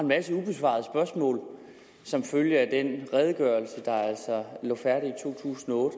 masse ubesvarede spørgsmål som følge af den redegørelse der altså lå færdig i to tusind og